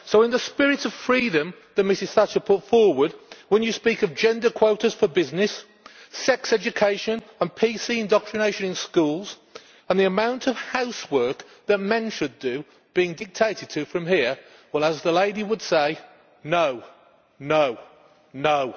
So, in the spirit of freedom that Mrs Thatcher put forward, when you speak of gender quotas for business, sex education and PC indoctrination in schools, and the amount of housework that men should do being dictated from here, well, as the lady would say, No, no, no!'